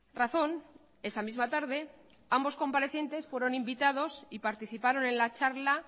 razón esa misma tarde ambos comparecientes fueron invitados y participaron en la charla